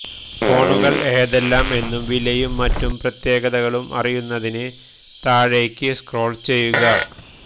ഫോണുകള് ഏതെല്ലാം എന്നും വിലയും മറ്റു പ്രത്യേകതകളും അറിയുന്നതിന് താഴേക്ക് സ്ക്രോള് ചെയ്യുക